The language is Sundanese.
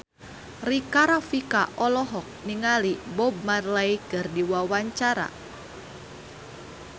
Rika Rafika olohok ningali Bob Marley keur diwawancara